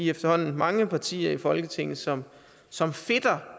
efterhånden mange partier i folketinget som som fedter